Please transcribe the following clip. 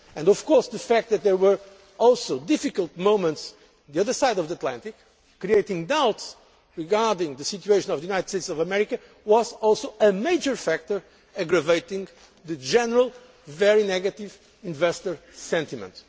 Of course, the fact there were also difficult moments on the other side of the Atlantic, creating doubts regarding the situation of the United States of America, was also a major factor aggravating the general very negative investor sentiment.